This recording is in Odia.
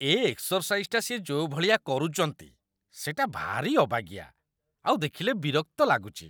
ଏ ଏକ୍ସରସାଇଜଟା ସିଏ ଯୋଉ ଭଳିଆ କରୁଚନ୍ତି, ସେଇଟା ଭାରି ଅବାଗିଆ, ଆଉ ଦେଖିଲେ ବିରକ୍ତ ଲାଗୁଚି ।